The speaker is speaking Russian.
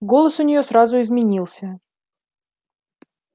голос у неё сразу изменился